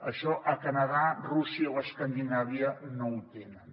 això a canadà rússia o escandinàvia no ho tenen